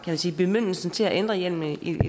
sige bemyndigelsen til at ændre hjemlen i